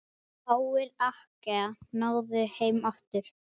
Fáir Akkea náðu heim aftur.